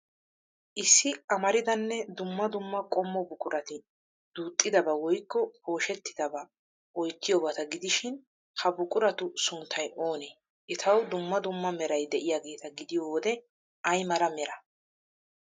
Issi amaridanne dumma dumma qommo buqurati duuxxidabaa woykko pooshettidabaa oyttiyobata gidishin, ha buquratu sunttay oonee? Etawu dumma dumma meray de'iyaageeta gidiyo wode, ay mala meraa?